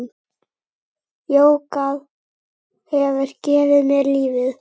Jógað hefur gefið mér lífið.